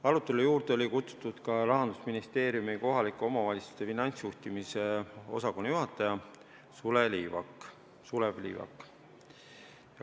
Arutelu juurde oli kutsutud ka Rahandusministeeriumi kohalike omavalitsuste finantsjuhtimise osakonna juhataja Sulev Liivik.